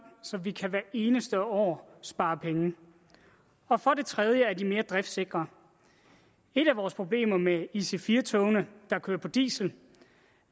så vi kan hvert eneste år spare penge og for det tredje er de mere driftsikre et af vores problemer med ic4 togene der kører på diesel